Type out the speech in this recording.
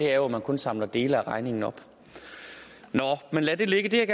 er jo at man kun samler dele af regningen op nå men lad det ligge